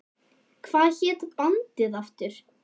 Hvað hét bandið aftur?